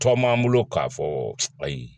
Tɔ m'an bolo k'a fɔ ayi